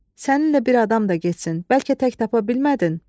səninlə bir adam da getsin, bəlkə tək tapa bilmədin?